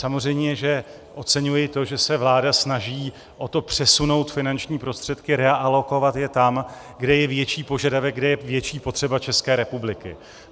Samozřejmě že oceňuji to, že se vláda snaží o to přesunout finanční prostředky, realokovat je tam, kde je větší požadavek, kde je větší potřeba České republiky.